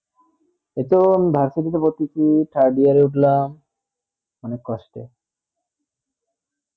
এই তো আমি ভার্সিটি ভর্তি কি third year এ উঠলাম অনেক কষ্টে